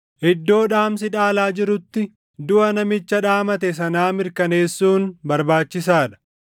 Iddoo dhaamsi dhaalaa jirutti duʼa namicha dhaamate sanaa mirkaneessuun barbaachisaa dha;